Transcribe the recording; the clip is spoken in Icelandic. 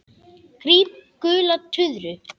Gríp gula tuðru.